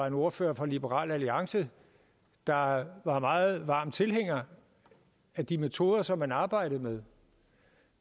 en ordfører fra liberal alliance var var meget varm tilhænger af de metoder som man arbejdede med